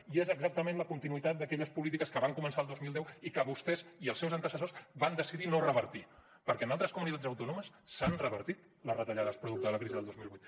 i és exactament la continuïtat d’aquelles polítiques que van començar el dos mil deu i que vostès i els seus antecessors van decidir no revertir perquè en altres comunitats autònomes s’han revertit les retallades producte de la crisi del dos mil vuit